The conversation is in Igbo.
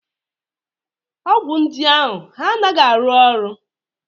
Ọgwụ ndị ahụ anaghị arụ ọrụ?